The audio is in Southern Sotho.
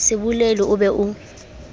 se bolele o be o